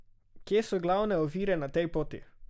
Kje so glavne ovire na tej poti?